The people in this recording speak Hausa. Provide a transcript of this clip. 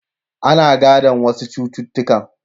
Ana gadon wasu cututtukan.